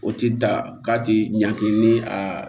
O ti da k'a tɛ ɲagi ni a